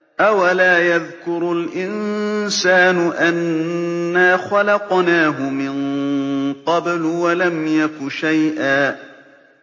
أَوَلَا يَذْكُرُ الْإِنسَانُ أَنَّا خَلَقْنَاهُ مِن قَبْلُ وَلَمْ يَكُ شَيْئًا